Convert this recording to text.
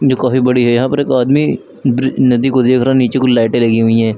जो काफी बड़ी है यहां पर एक आदमी नदी को देख रहा है नीचे को लाइटें लगी हुई हैं।